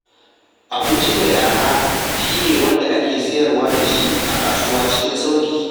Abinci mai araha shi ne wanda ake sayar da shi a kasuwa cikin sauƙi.